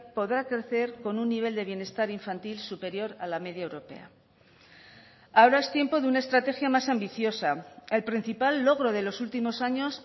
podrá crecer con un nivel de bienestar infantil superior a la media europea ahora es tiempo de una estrategia más ambiciosa el principal logro de los últimos años